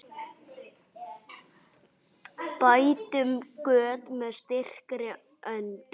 Bætum göt með styrkri hönd.